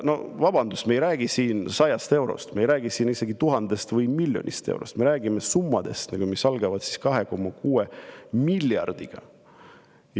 Vabandust, me ei räägi siin 100 eurost, me ei räägi siin isegi tuhandest või miljonist eurost, me räägime summadest, mis algavad 2,6 miljardist.